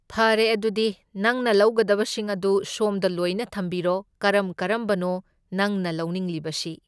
ꯐꯔꯦ ꯑꯗꯨꯗꯤ ꯅꯪꯅ ꯂꯧꯒꯗꯕꯁꯤꯡ ꯑꯗꯨ ꯁꯣꯝꯗ ꯂꯣꯢꯅ ꯊꯝꯕꯤꯔꯣ, ꯀꯔꯝ ꯀꯔꯝꯕꯅꯣ ꯅꯪꯅ ꯂꯧꯅꯤꯡꯂꯤꯕꯁꯤ?